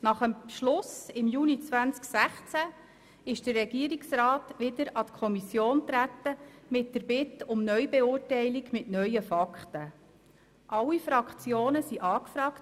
Nach dem Beschluss im Juni 2016 ist der Regierungsrat mit der Bitte um Neubeurteilung mit neuen Fakten wieder an die Kommission herangetreten.